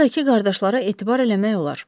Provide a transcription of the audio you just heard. Lojadakı qardaşlara etibar eləmək olar.